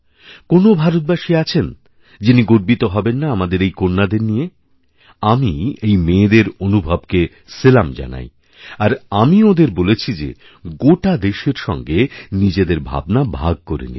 কোন্ ভারতবাসী আছেন যিনি গর্বিত হবেন না আমাদের এই কন্যাদের নিয়ে আমি এইমেয়েদের অনুভবকে সেলাম জানাই আর আমি ওঁদের বলেছি যে গোটা দেশের সঙ্গে নিজেদেরভাবনা ভাগ করে নিতে